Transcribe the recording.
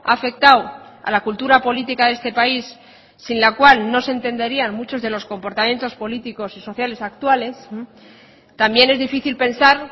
ha afectado a la cultura política de este país sin la cual no se entenderían muchos de los comportamientos políticos y sociales actuales también es difícil pensar